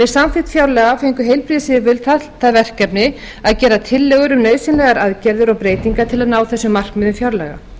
samþykkt fjárlaga fengu heilbrigðisyfirvöld það verkefni að gera tillögur um nauðsynlegar aðgerðir og breytingar til að ná þessum markmiðum fjárlaga